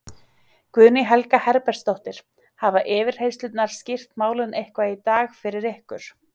Guðný Helga Herbertsdóttir: Hafa yfirheyrslurnar skýrt málin eitthvað í dag fyrir ykkur?